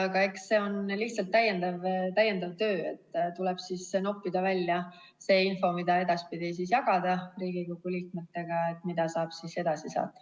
Aga eks see on lihtsalt täiendav töö noppida välja info, mida edaspidi jagada Riigikogu liikmetega, mida saab siis edasi saata.